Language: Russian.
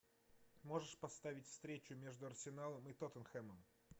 можешь поставить встречу между арсеналом и тоттенхэмом